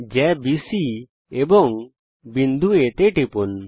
জ্যা বিসি এবং বিন্দু A তে টিপুন